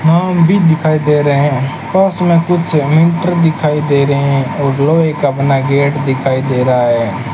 भी दिखाई दे रहे हैं पास में कुछ दिखाई दे रहे हैं और लोहे का बना गेट दिखाई दे रहा है।